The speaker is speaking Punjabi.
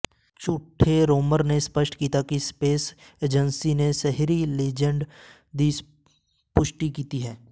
ਝੂਠੇ ਰੋਮਰ ਨੇ ਸਪਸ਼ਟ ਕੀਤਾ ਕਿ ਸਪੇਸ ਏਜੰਸੀ ਨੇ ਸ਼ਹਿਰੀ ਲੀਜੈਂਡ ਦੀ ਪੁਸ਼ਟੀ ਕੀਤੀ ਹੈ